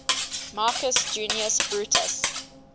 marcus junius brutus